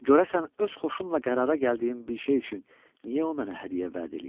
Görəsən öz xoşumla qərara gəldiyim bir şey üçün niyə o mənə hədiyyə vəd eləyir?